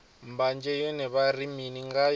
mbanzhe yone vha ri mini ngayo